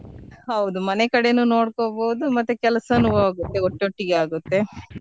ಹೌದು ಮನೆ ಕಡೆನೂ ನೋಡ್ಕೊಳ್ಬೋದು ಮತ್ತೆ ಕೆಲಸನೂ ಆಗುತ್ತೆ ಒಟ್ಟೊಟ್ಟಿಗೆ ಆಗತ್ತೆ.